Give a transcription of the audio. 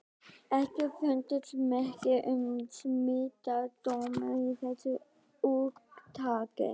EKKI FUNDUST MERKI UM SMITSJÚKDÓMA Í ÞESSU ÚRTAKI.